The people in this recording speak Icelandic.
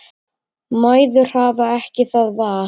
Mæður hafa ekki það val.